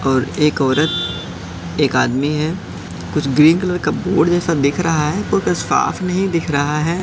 और एक औरत एक आदमी है कुछ ग्रीन कलर का बोर्ड जैसा दिख रहा है साफ नहीं दिख रहा है।